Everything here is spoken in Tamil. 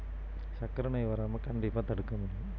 சர்க்கரை நோய் வராம கண்டிப்பா தடுக்க முடியும்